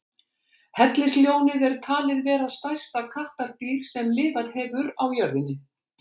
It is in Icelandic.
Hellisljónið er talið vera stærsta kattardýr sem lifað hefur á jörðinni.